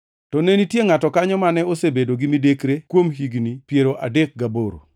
To ne nitie ngʼato kanyo mane osebedo gi midekre kuom higni piero adek gaboro.